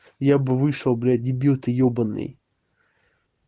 я бы вышел блядь дебил ты ёбаный